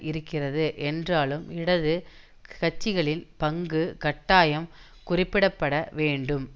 இருக்கிறது என்றாலும் இடது கட்சிகளின் பங்கு கட்டாயம் குறிப்பிட பட வேண்டும்